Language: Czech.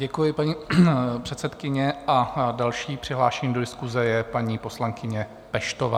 Děkuji, paní předsedkyně, a další přihlášená do diskuse je paní poslankyně Peštová.